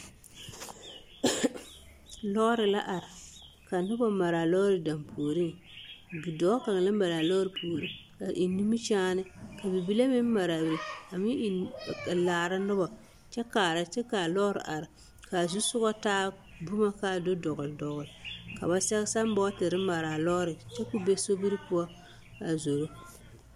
Lɔɔre la are ka noba mare a lɔɔre dampuoriŋ, bidɔɔ kaŋa la mare a lɔɔre puori a eŋ nimikyaane ka bibile meŋ mare a be a meŋ eŋ laara nobɔ kyɛ kaara kyɛ k'a lɔɔre are k'a zusogɔ taa boma k'a do dɔgele dɔgele ka ba sɛge sambɔɔtere mare a lɔɔre kyɛ k'o be sobiri poɔ a zoro.